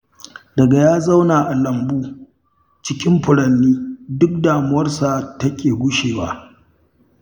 Daga ya zauna a lambu, cikin furanni duk damuwarsa take gushewa